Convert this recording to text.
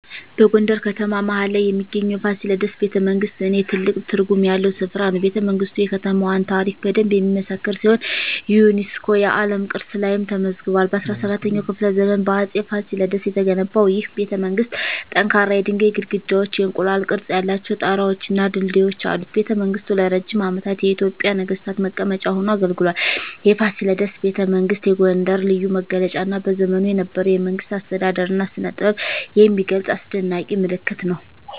በጎንደር ከተማ መሀል ላይ የሚገኘው የፋሲለደስ ቤተመንግሥት ለኔ ትልቅ ትርጉም ያለው ስፍራ ነው። ቤተመንግስቱ የከተማዋን ታሪክ በደንብ የሚመሰክር ሲሆን የዩኔስኮ የዓለም ቅርስ ላይም ተመዝግቧል። በ17ኛው ክፍለ ዘመን በአፄ ፋሲለደስ የተገነባው ይህ ቤተመንግሥት ጠንካራ የድንጋይ ግድግዳዎች፣ የእንቁላል ቅርፅ ያላቸው ጣራወች እና ድልድዮች አሉት። ቤተመንግሥቱ ለረጅም ዓመታት የኢትዮጵያ ነገሥታት መቀመጫ ሆኖ አገልግሏል። የፋሲለደስ ቤተመንግሥት የጎንደርን ልዩ መገለጫ እና በዘመኑ የነበረውን የመንግሥት አስተዳደር እና ስነጥበብ የሚገልጽ አስደናቂ ምልክት ነው።